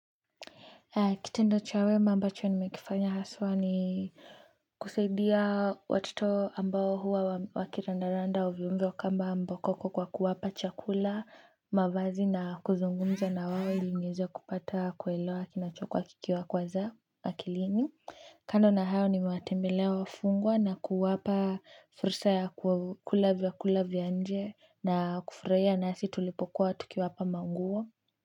Kitendo cha wema ambacho nimekifanya haswa ni kusaidia watoto ambao huwa wakiranda randa ovyovyo kama mbwa koko kwa kuwapa chakula, mavazi na kuzungumza na wao ili niweze kupata kuelewa kinachokuwa kikiwa kwazea akilini. Kando na hayo nimewatembelea wafungwa na kuwapa fursa ya kula vyakula vya nje na kufurahia nasi tulipokuwa tukiwapa maunguo.